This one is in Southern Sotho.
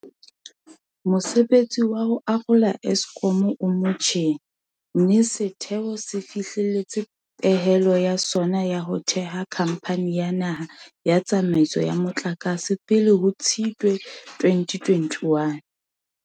Mosebetsi wa ho arola Eskom o motjheng, mme setheo se fihlelletse pehelo ya sona ya ho theha Khamphani ya Naha ya Tsa maiso ya Motlakase pele ho Tshitwe 2021.